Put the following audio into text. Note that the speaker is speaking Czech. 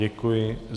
Děkuji.